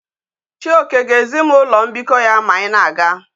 Chioke ga ezim ulo mbiko ya ma anyi na aga